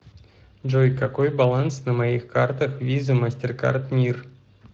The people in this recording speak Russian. джой какой баланс на моих картах виза мастеркард мир